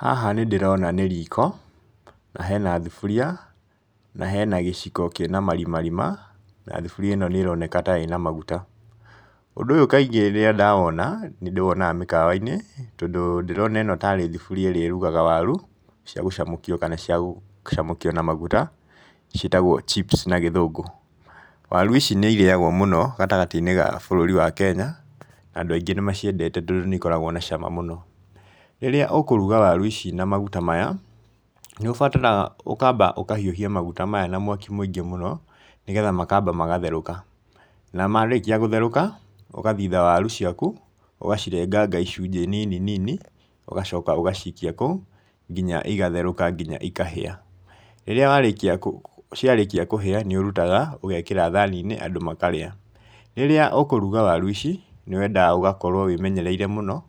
Haha nĩ ndĩrona nĩ riko, na hena thuburia, na hena gĩciko kĩna marimarima, na thuburia ĩno nĩ ĩroneka ta ĩna maguta. Ũndũ ũyũ kaingĩ rĩrĩa ndawona, nĩ ndĩwonaga mĩhawa-inĩ, tondũ ndĩrona ĩno tarĩ thuburia ĩrĩa ĩrugaga waru cia gucamũkio kana cia gũcamũkio na maguta, ciĩtagwo chips na gĩthũngũ. Waru ici nĩ irĩagwo mũno gatagatĩ-inĩ ga bũrũri wa Kenya, na andũ aingĩ nĩ maciendete tondũ nĩ ikoragwo na cama mũno, rĩrĩa ũkũruga waru ici na maguta maya, nĩũbataraga ũkamba ũkahiũhia maguta maya na mwaki mũingĩ mũno nĩgetha makamba magatherũka, na marĩkia gũtherũka, ũgathitha waru ciaku, ũgacirenganga icunjĩ nini nini, ũgacoka ũgaciikia kũu, nginya igatherũka nginya ikahĩa, rĩrĩa warĩkia ciarĩkia kũhĩa, nĩ ũrutaga ũgekĩra thani-inĩ andũ makarĩa. Rĩrĩa ũkũruga waru ici nĩ wendaga ũgakorwo wĩmenyereire mũno,